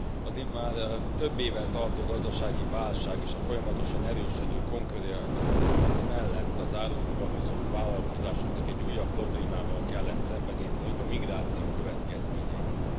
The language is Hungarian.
Az itt már több éve tartó gazdasági válság és a folyamatosan erősödő konkurenciaharc mellett az árufuvarozó vállalkozásoknak egy újabb problémával kellett szembenézniük a migráció következményeivel.